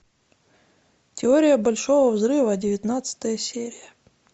теория большого взрыва девятнадцатая серия